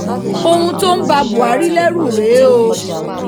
ohun tó ń ba buhari lẹ́rù rèé o